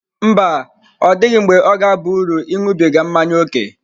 Mba, ọ dịghị mgbe ọ ga-aba uru ịṅụbiga mmanya ókè.